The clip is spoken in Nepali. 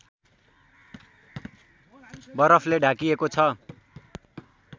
बरफले ढाकिएको छ